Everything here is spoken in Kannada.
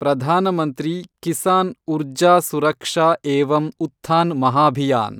ಪ್ರಧಾನ ಮಂತ್ರಿ ಕಿಸಾನ್ ಉರ್ಜಾ ಸುರಕ್ಷಾ ಏವಂ ಉತ್ಥಾನ್ ಮಹಾಭಿಯಾನ್